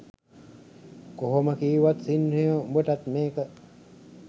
කොහොම කීවත් සින්හයෝ උඹටත් මේක